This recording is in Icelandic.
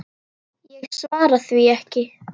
Ég svara því ekki.